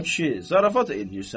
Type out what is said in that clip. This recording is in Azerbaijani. "A kişi, zarafat eləyirsən?